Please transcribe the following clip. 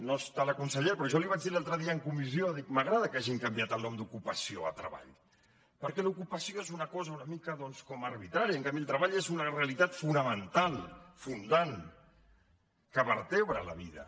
no hi ha la consellera però jo li ho vaig dir l’altre dia en comissió dic m’agrada que hagin canviat el nom d’ocupació a treball perquè l’ocupació és una cosa una mica doncs com arbitrària en canvi el treball és una realitat fonamental fundant que vertebra la vida